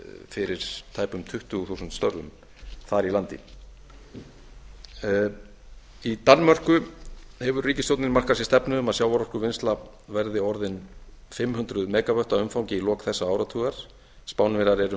fyrir tæpum tuttugu þúsund störfum þar í landi í danmörku hefur ríkisstjórnin markað sér stefnu um að sjávarorkuvinnsla verði orðin fimm hundruð mega vöttum að umfangi í lok þessa áratugar spánverjar eru